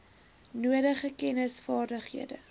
nodige kennis vaardighede